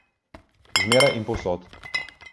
Zmeraj in povsod.